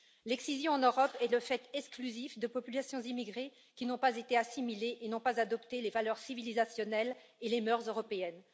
L'excision en Europe est le fait exclusif de populations immigrées qui n'ont pas été assimilées et n'ont pas adopté les valeurs civilisationnelles et les mœurs européennes.